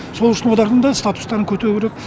сол үшін олардың да статустарын көтеру керек